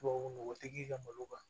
Tubabu nɔgɔ tɛ k'i ka malo kan